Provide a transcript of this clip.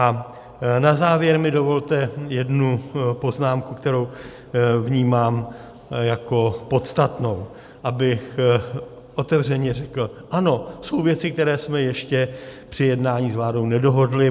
A na závěr mi dovolte jednu poznámku, kterou vnímám jako podstatnou, abych otevřeně řekl ano, jsou věci, které jsme ještě při jednání s vládou nedohodli.